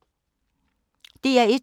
DR1